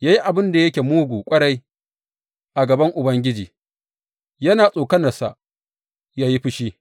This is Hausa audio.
Ya yi abin da yake mugu ƙwarai a gaban Ubangiji, yana tsokanarsa yă yi fushi.